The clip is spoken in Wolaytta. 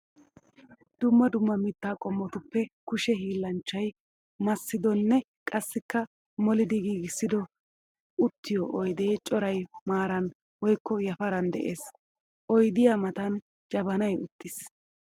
Dumma dumma mitta qommottuppe kushe hiillanchchay massiddinne qassikka molliddi giigissiddo uttiyo oydde coray maaran woykko yafaran de'ees. Oyddiya matan jabanay uttiis.